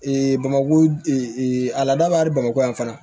bamako a laadabali bamakɔ yan fana